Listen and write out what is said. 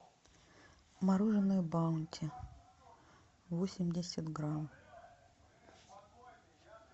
мороженое баунти восемьдесят грамм